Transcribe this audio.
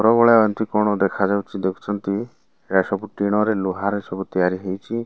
ପ୍ରବଳ ଆଣ୍ଟୀ କୋଣ ଦେଖା ଯାଉଛି ଦେଖୁଛନ୍ତି ଏହା ସବୁ ଟିଣ ରେ ଲୁହା ରେ ସବୁ ତିଆରି ହୋଇଚି।